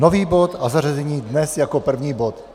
Nový bod a zařazení dnes jako první bod?